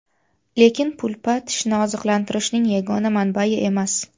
Lekin pulpa tishni oziqlantirishning yagona manbai emas.